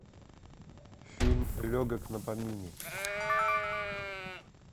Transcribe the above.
фильм легок на помине